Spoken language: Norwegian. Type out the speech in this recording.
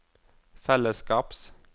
fellesskaps